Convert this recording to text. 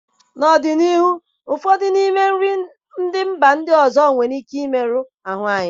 N'ọdịnihu ụfọdụ n'ime nri ndị mba ọzọ a nwere ike imerụ ahụ anyị